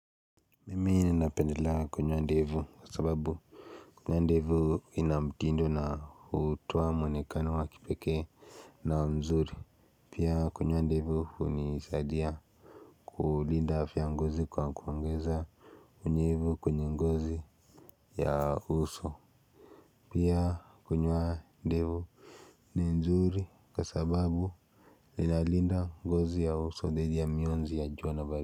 Mimi ninapendela kunywoa ndevu kwa sababu Kunywoa ndevu inamtindo na utoa mwonekani wakipeke na mzuri Pia kunywoa ndevu unisaadia kulinda afya ngozi kwa kuongeza unyevu kunye gozi ya uso Pia kunywoa ndevu ni nzuri kwa sababu inalinda ngozi ya uso dhidi ya mionzi ya jua na baridi.